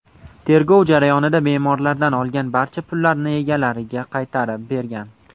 Tergov jarayonida bemorlardan olgan barcha pullarni egalariga qaytarib bergan.